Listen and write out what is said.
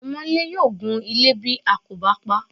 Ọmọńlé yóò gunle ilé bí a kò bá paá.